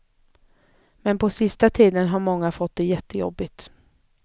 Men på sista tiden har många fått det jättejobbigt.